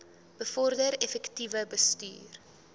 bevorder effektiewe bestuur